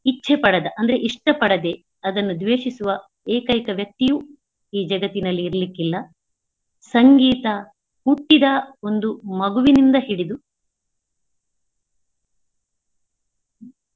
ಇಚ್ಛೆ ಪಡದ ಅಂದ್ರೆ ಇಷ್ಟ ಪಡದೆ ಅದನ್ನು ದ್ವೇಷಿಸುವ ಏಕೈಕ ವ್ಯಕ್ತಿಯು ಈ ಜಗತ್ತಿನಲ್ಲಿ ಇರ್ಲಿಕ್ಕಿಲ್ಲಾ ಸಂಗೀತ ಹುಟ್ಟಿದ ಒಂದು ಮಗುವಿನಿಂದ ಹಿಡಿದು.